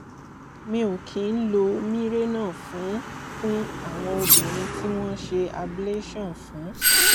mi ò kí ń lo mirena fún fún àwọn obìnrin tí wọ́n ṣe ablation fún